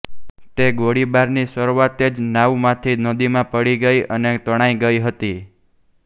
તે ગોળીબારની શરુઆતે જ નાવમાંથી નદીમાં પડી ગઈ અને તણાઈ ગઈ હતી